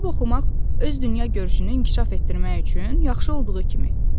Kitab oxumaq öz dünyagörüşünü inkişaf etdirmək üçün yaxşı olduğu kimi.